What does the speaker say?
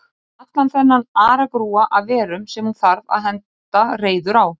Allan þennan aragrúa af verum sem hún þarf að henda reiður á.